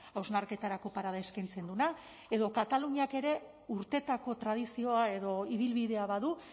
hausnarketarako parada eskaintzen duena edo kataluniak ere urteetako tradizioa edo ibilbidea badu